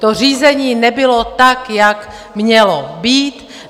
To řízení nebylo tak, jak mělo být.